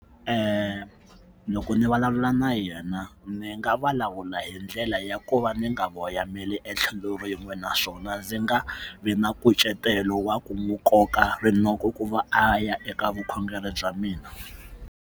loko ni vulavula na yena ni nga vulavula hi ndlela ya ku va ni nga voyameli etlhelo rin'we naswona ndzi nga vi na nkucetelo wa ku n'wi koka rinoko ku va a ya eka vukhongeri bya mina.